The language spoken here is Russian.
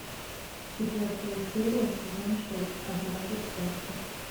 четвертая серия сезон шесть однажды в сказке